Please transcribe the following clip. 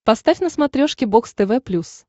поставь на смотрешке бокс тв плюс